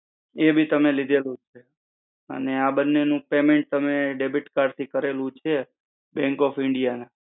એ B તમે લીધેલું છે. અને આ બન્ને નો payment તમે debit card નું કરેલું છે. bank of india ના.